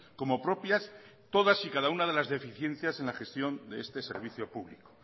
como propias todas y cada una de las deficiencias en la gestión de este servicio público